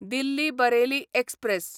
Delhi Bareilly express